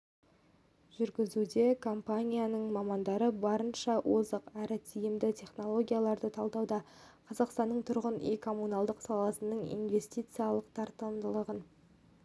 жүргізуде компанияның мамандары барынша озық әрі тиімді технологияларды талдауда қазақстанның тұрғын үй-коммуналдық саласының инвестициялық тартымдылығын